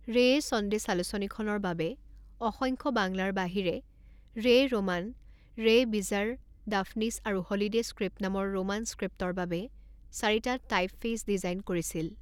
ৰেয়ে সন্দেশ আলোচনীখনৰ বাবে অসংখ্য বাংলাৰ বাহিৰে ৰেয় ৰোমান, ৰেয় বিজাৰ, ডাফনিছ আৰু হ'লিডে স্ক্ৰিপ্ট নামৰ ৰোমান স্ক্ৰিপ্টৰ বাবে চাৰিটা টাইপফেইচ ডিজাইন কৰিছিল।